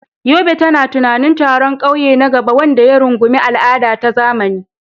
Yobe tana tunanin taron ƙauye na gaba wanda ya rungumi al'ada da zamani.